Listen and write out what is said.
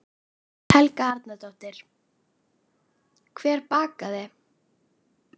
Helga Arnardóttir: Hver bakaði?